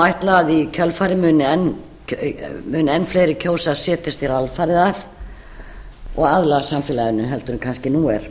ætla að í kjölfarið muni enn fleiri kjósa að setjast hér alfarið að og aðlagast samfélaginu heldur en kannski nú er